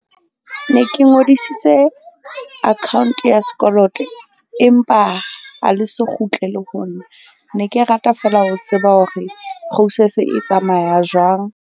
Ne ke ngodisitse account ya sekoloto empa ha le so kgutlele ho nna. Ne ke rata feela ho tseba hore process-e e tsamaya jwang?